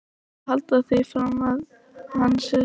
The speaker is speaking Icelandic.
Eruð þið að halda því fram að hann sé þjófur!